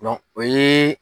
o ye